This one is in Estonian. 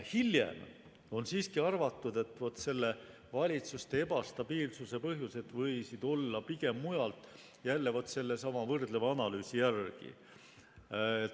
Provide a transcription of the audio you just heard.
Hiljem on siiski arvatud, et vaat selle valitsuste ebastabiilsuse põhjused võisid olla pigem mujal, jälle sellesama võrdleva analüüsi järgi.